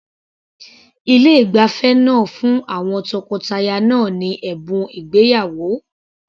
Ilé ìgbafẹ́ náà fún àwọn tọkọtaya náà ní ẹ̀bùn ìgbéyàwó.